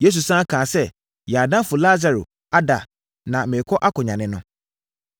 Yesu sane kaa sɛ, “Yɛn adamfo Lasaro ada na merekɔ akɔnyane no.”